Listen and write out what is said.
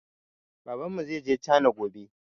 Babanmu zaije cana gobe